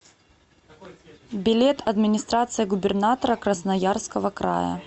билет администрация губернатора красноярского края